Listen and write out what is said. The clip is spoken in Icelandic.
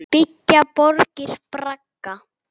Byggja borgir bragga?